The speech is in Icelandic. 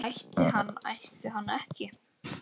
Ætti hann ætti hann ekki?